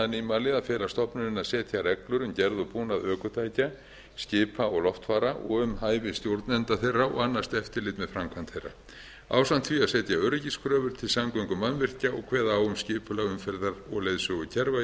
nýmæli að fela stofnuninni að setja reglur um gerð og búnað ökutækja skipa og loftfara og um hæfi stjórnenda þeirra og annast eftirlit með framkvæmd þeirra ásamt því að setja öryggiskröfur til samgöngumannvirkja og kveða á um skipulag umferðar og leiðsögukerfa í